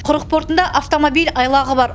құрық портында автомобиль айлағы бар